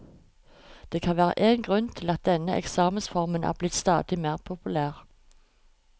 Det kan være én grunn til at denne eksamensformen er blitt stadig mer populær.